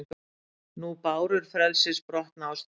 Nú bárur frelsis brotna á ströndum,